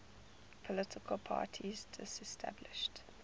political parties disestablished